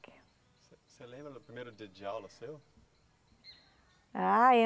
Você, você lembra do primeiro dia de aula seu? Ah, eu